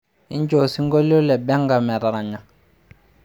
injoo osinkolio le benga metaranya